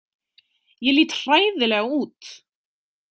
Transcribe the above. „Ég lít hræðilega út“.